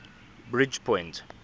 bridgepoint